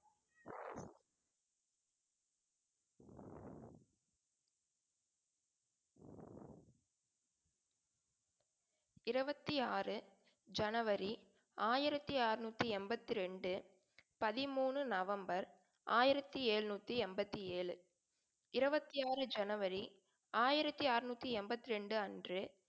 இருவத்தி ஆறு ஜனவரி ஆயிரத்தி அறுநூத்தி எண்பத்திரண்டு பதிமூணு நவம்பர் ஆயிரத்தி எழுநூத்தி எண்பத்தி ஏழு இருபத்தி ஆறு ஜனவரி ஆயிரத்தி அறுநூத்தி எண்பத்தி ரெண்டு அன்று